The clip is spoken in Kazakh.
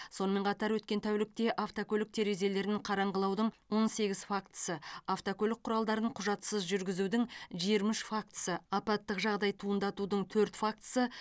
сонымен қатар өткен тәулікте автокөлік терезелерін қараңғылаудың он сегіз фактісі автокөлік құралдарын құжатсыз жүргізудің жиырма үш фактісі апаттық жағдай туындатудың төрт фактісі